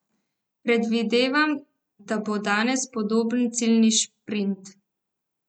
Predvidevam, da bo danes podoben ciljni šprint.